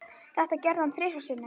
Þetta gerði hann þrisvar sinnum.